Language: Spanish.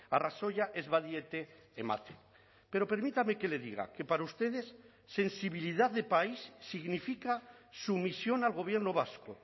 arrazoia ez badiete ematen pero permítame que le diga que para ustedes sensibilidad de país significa sumisión al gobierno vasco